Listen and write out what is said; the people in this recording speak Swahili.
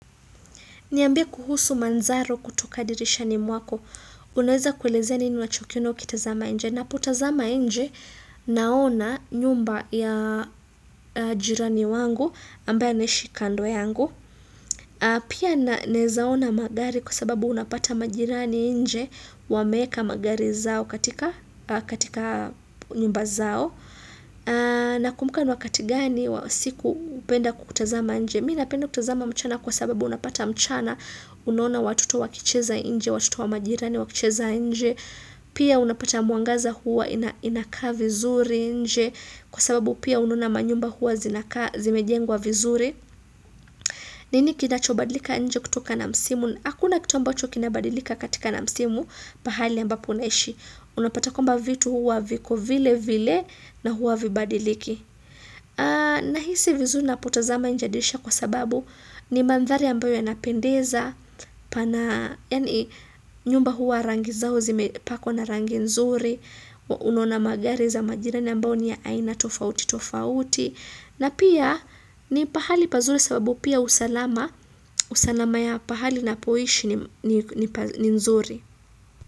Niambie kuhusu manzaro kutoka dirisha ni mwako. Unaweza kuelezeni nini unachokina ukitazama inje. Napotazama inje naona nyumba ya jirani wangu ambaye anaishinkando yangu. Pia nawezaona magari kwa sababu unapata majirani inje wameweka magari zao katika nyumba zao. Na kumbuka ni wakati gani wa siku upenda kutazama inje. Mii napenda kutazama mchana kwa sababu unapata mchana unaona watoto wakicheza inje, watoto wa majirani wakicheza inje, pia unapata mwangaza huwa inakaa vizuri inje, kwa sababu pia unona manyumba huwa zimejengwa vizuri. Nini kinachobadlika inje kutoka na msimu, hakuna kitu ambacho kinabadilika katika na msimu, pahali ambapo unaishi, unapata kwamba vitu huwa viko vile vile na huwa vibadiliki. Na hisi vizuri na potazama inje dirisha kwa sababu ni mandhari ambayo ya yanapendeza pana, yaani nyumba huwa rangi zao zime pakwa na rangi nzuri Unaona magari za majirani ambayo ni ya aina tofauti tofauti na pia ni pahali pazuri sababu pia usalama usalama ya pahali na poishi ni nzuri.